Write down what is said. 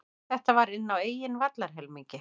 Þetta var inn á eigin vallarhelmingi.